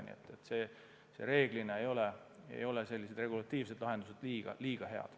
Nii et reeglina ei ole regulatiivsed lahendused head.